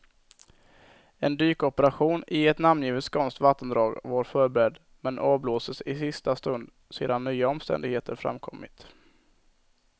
En dykoperation i ett namngivet skånskt vattendrag var förberedd, men avblåstes i sista stund sedan nya omständigheter framkommit.